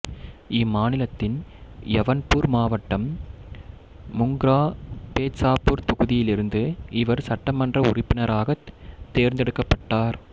இம்மாநிலத்தின் யவுன்பூர் மாவட்டம் முங்ரா பேத்சாபூர் தொகுதியிலிருந்து இவர் சட்டமன்ற உறுப்பினராகத் தேர்ந்தெடுக்கப்பட்டார்